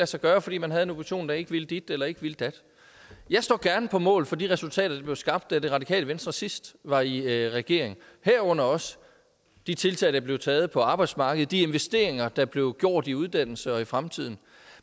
sig gøre fordi man havde en opposition der ikke ville dit eller ikke ville dat jeg står gerne på mål for de resultater der blev skabt da det radikale venstre sidst var i regering herunder også de tiltag der blev taget på arbejdsmarkedet og de investeringer der blev gjort i uddannelse og fremtiden